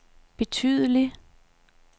betydelig